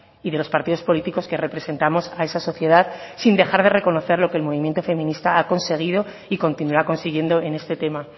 y de los partidos políticos que representamos a esa sociedad sin dejar de reconocer lo que el movimiento feminista ha conseguido y continuará consiguiendo en este tema